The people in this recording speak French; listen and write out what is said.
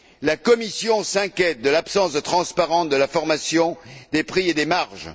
La Commission s'inquiète de l'absence de transparence de la formation des prix et des marges.